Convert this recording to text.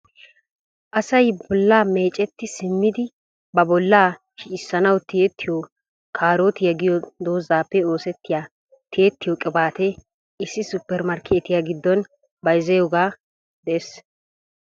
Asay bolla meecceti simmidi ba bolla shiccissanaw tiyyetiyo kaarotiya giyo doozappe oosetiya tiyyetiyo qibaate issi supper markketiyaa giddon bayzziyooge de'ees.